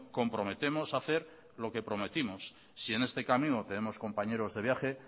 comprometemos a hacer lo que prometimos si en este camino tenemos compañeros de viaje